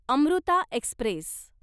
Amruta Express